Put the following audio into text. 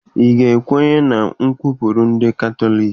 Ị ga-ekwenye na ụkpụrụ ndị Katọliki?